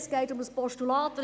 Es geht um ein Postulat.